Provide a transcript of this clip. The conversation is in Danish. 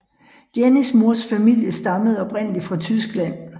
Jennies mors familie stammede oprindelig fra Tyskland